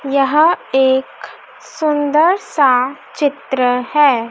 यहां एक सुंदर सा चित्र है।